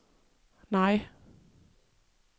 nej